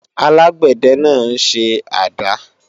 alágbẹ̀dẹ náà ń ṣe àdá